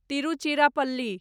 Tiruchirappalli